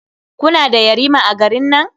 Kuna da yarima a garin nan?